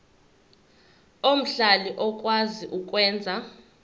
omhlali okwazi ukwenza